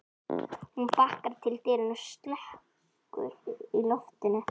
Hún bakkar til dyranna og slekkur í loftinu.